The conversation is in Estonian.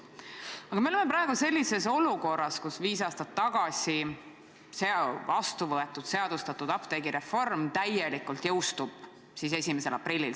Aga me oleme praegu sellises olukorras, kus viis aastat tagasi heaks kiidetud ja seadustatud apteegireform täielikult jõustub 1. aprillil.